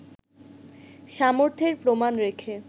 সামর্থ্যের প্রমাণ রেখে